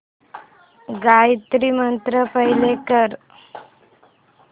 Gayatri mantra play कर